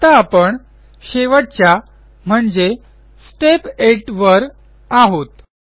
आता आपण शेवटच्या म्हणजे स्टेप 8 वर आहोत